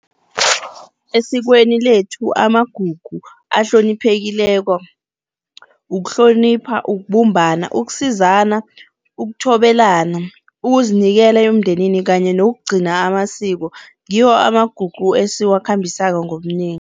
Esikweni lethu amagugu ahloniphekileko, ukuhlonipha, ukubumbana, ukusizana, ukuthobelana ukuzinikela emndenini kanye nokugcina amasiko, ngiwo amagugu esiwakhambisako ngobunengi.